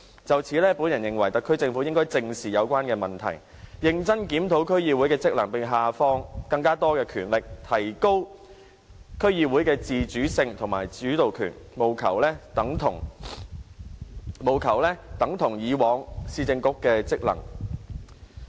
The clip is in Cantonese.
就此，我認為特區政府應該正視有關問題，認真檢討區議會的職能，並下放更多權力，提高區議會的自主性和主導權，務求令區議會的職能等同以往市政局。